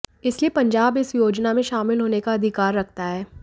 इसलिए पंजाब इस योजना में शामिल होने का अधिकार रखता है